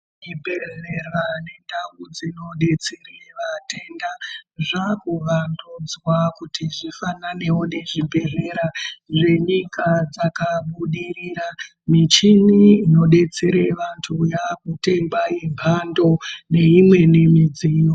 Zvibhedhera indau dzinodetsere vatenda. Zvaakuvandudzwa kuti zvifananewo nezvibhedhlera zvenyika dzakabudirira. Michini inodetsere vanthu yaakutengwa yemphando neimweni midziyo.